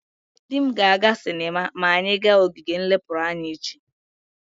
Di m ga-aga sinema ma anyi ga ogige nlepuru anya echi.